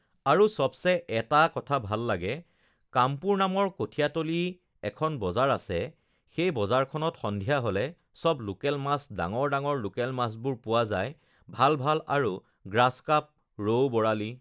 আৰু চবচে এটা কথা ভাল লাগে কামপুৰ নামৰ কঠীয়াতলি এখন বজাৰ আছে সেই বজাৰখনত সন্ধিয়া হ'লে চব লোকেল মাছ ডাঙৰ ডাঙৰ লোকেল মাছবোৰ পোৱা যায় ভাল ভাল আৰু গ্ৰাছ কাপ, ৰৌ-বৰালি